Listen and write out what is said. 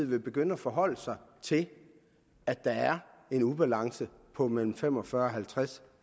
vil begynde at forholde sig til at der er en ubalance på mellem fem og fyrre og halvtreds